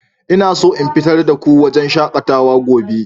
Ina so in fitar da ku zuwa wurin shakatawa gobe.